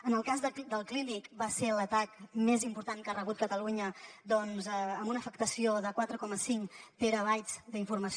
en el cas del clínic va ser l’atac més important que ha rebut catalunya doncs amb una afectació de quatre coma cinc terabytes d’informació